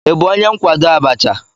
Ị bụ onye nkwado Abacha?